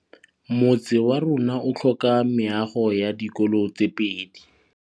Motse warona o tlhoka meago ya dikolô tse pedi.